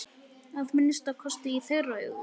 Að minnsta kosti í þeirra augum!